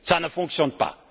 Cela ne fonctionne pas.